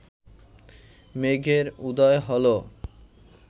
মেঘের উদয় হল